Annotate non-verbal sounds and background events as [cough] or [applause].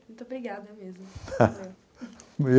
Muito obrigada mesmo. [laughs]